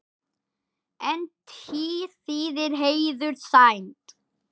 En tír þýðir heiður, sæmd.